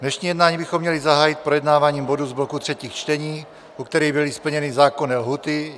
Dnešní jednání bychom měli zahájit projednáváním bodů z bloku třetích čtení, u kterých byly splněny zákonné lhůty.